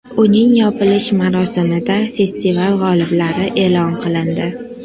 Uning yopilish marosimida festival g‘oliblari e’lon qilindi.